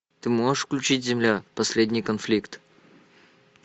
ты можешь включить земля последний конфликт